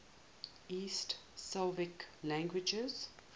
east slavic languages